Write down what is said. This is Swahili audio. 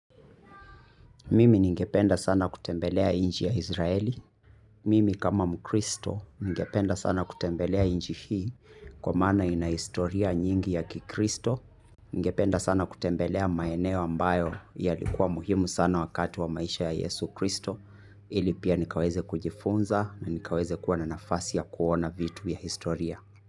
Mimi ningependa sana kutembelea nchi ya Izraeli. Mimi kama mkristo, ningependa sana kutembelea nchi hii, kwa maana ina historia nyingi ya kikristo. Ningependa sana kutembelea maeneo ambayo yalikuwa muhimu sana wakati wa maisha ya Yesu Kristo, ili pia nikaweze kujifunza na nikaweze kuwa na nafasi ya kuona vitu ya historia.